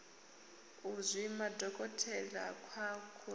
u zwima dokotelakha ku orobo